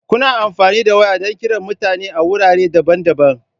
Kuna amfani da waya don kiran mutane a wurare daban-daban.